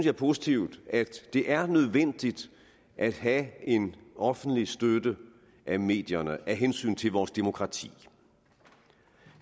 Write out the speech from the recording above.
er positivt at det er nødvendigt at have en offentlig støtte af medierne af hensyn til vores demokrati